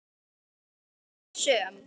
Hún varð aldrei söm.